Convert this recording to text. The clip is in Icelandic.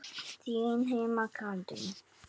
Þín Heiða Katrín.